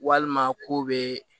Walima ko be